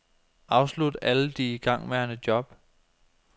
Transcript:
Afslut alle de igangværende job.